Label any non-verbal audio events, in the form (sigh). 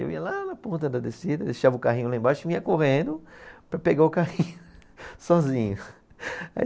Eu ia lá na ponta da descida, deixava o carrinho lá embaixo e vinha correndo para pegar o carrinho (laughs) sozinho. (laughs) Aí